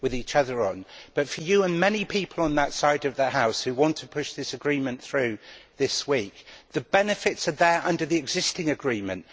But I would say, to you and any people on that side of the House who want to push this agreement through this week, that the benefits are there under the existing agreement.